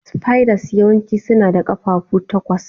Spiders yawanci suna da ƙafafu takwas.